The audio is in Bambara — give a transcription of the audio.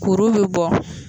Kuru bi bɔ